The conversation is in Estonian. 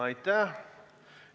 Aitäh!